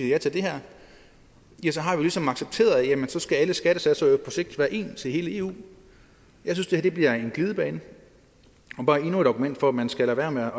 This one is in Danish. ja til det her ja så har vi ligesom accepteret at så skal alle skattesatser på sigt være ens i hele eu jeg synes det her bliver en glidebane og bare endnu et argument for at man skal lade være med